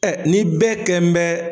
ni bɛɛ kɛn bɛ